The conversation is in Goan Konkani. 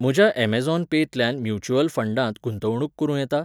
म्हज्या अमॅझॉन पेंतल्यान म्युच्युअल फंडांत गुंतवणूक करूं येता?